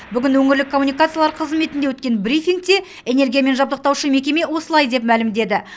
бүгін өңірлік коммуникациялар қызметінде өткен брифингте энергиямен жабдықтаушы мекеме осылай деп мәлімдеді